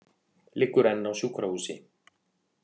Liggur enn á sjúkrahúsi